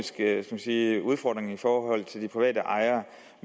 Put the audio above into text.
en økonomisk udfordring i forhold til de private ejere